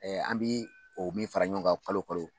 Ɛɛ an bɛ o min fara ɲɔgɔn kan kalo o kalo